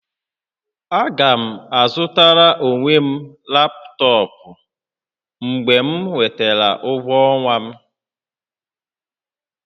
Aga m azụtara onwe m laptọọpụ mgbe m nwetara ụgwọ ọnwa m